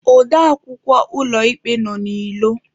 Ode akwukwọ ụlọ ikpe nọ n'ilo.